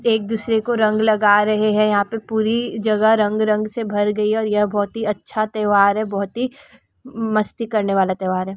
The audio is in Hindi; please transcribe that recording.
एक दूसरे को रंग लगा रहे हेयहाँ पे पूरी जागा रंग रंग से भर गई हे यह बहुत ही अच्छा त्यौहार हैबहुत ही म- मस्ती करने वाला त्योहार हे।